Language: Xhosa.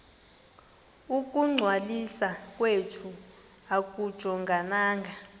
ukungcwaliswa kwethu akujongananga